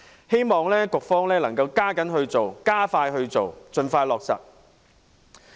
希望局方能加緊進行、加快處理，盡快落實。